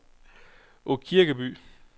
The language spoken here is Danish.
Aakirkeby